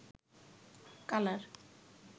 colour